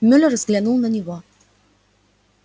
мюллер взглянул на него